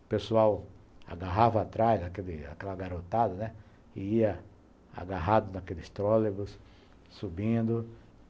O pessoal agarrava atrás, aquele aquela garotada, né, e ia agarrado naqueles trolleybus, subindo.